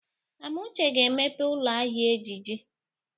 Amuche ga-emepe ụlọ ahịa ejiji.